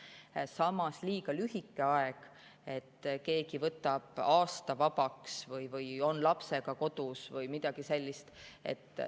Samas liiga lühike aeg, et keegi võtab aasta vabaks või on lapsega kodus või midagi sellist.